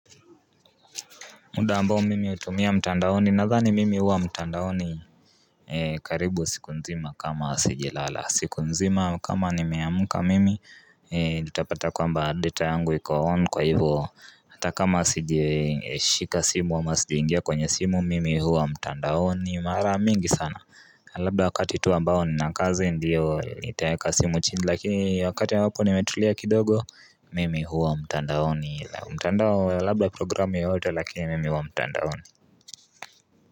Muda ambao mimi hutumia mtandaoni na dhani mimi huwa mtandaoni karibu siku nzima kama sijalala siku nzima kama nimeamka mimi utapata kwamba deta yangu ikuwaon kwa hivo Hata kama sijashika simu ama sijaingia kwenye simu mimi huwa mtandaoni mara mingi sana Labda wakati tu ambao ninakazi ndiyo nitaeka simu chini lakini wakati ambapo nimetulia kidogo mimi huwa mtandaoni mtandao labla programi yoyote lakini mimi huwa mtandaoni.